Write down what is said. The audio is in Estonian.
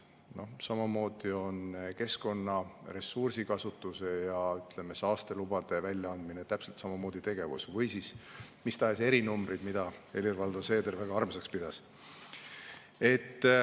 Täpselt samamoodi on keskkonna ressursikasutuse ja saastelubade väljaandmine tegevus, või mis tahes erinumbrid, mida Helir-Valdor Seeder väga armsaks pidas.